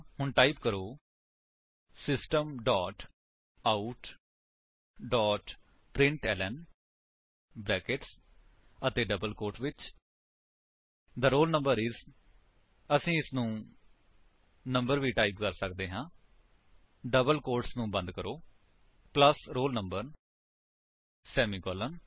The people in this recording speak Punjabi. ਹੁਣ ਟਾਈਪ ਕਰੋ system dot out dot println brackets ਅਤੇ ਡਬਲ ਕੋਟਸ ਵਿੱਚ ਥੇ ਰੋਲ ਨੰਬਰ ਆਈਐਸ ਅਸੀ ਇਸਨੂੰ ਨੰਬਰ ਵੀ ਟਾਈਪ ਕਰ ਸੱਕਦੇ ਹਾਂ ਡਬਲ ਕੋਟਸ ਨੂੰ ਬੰਦ ਕਰੋ ਪਲੱਸ roll number ਸੇਮੀਕਾਲਨ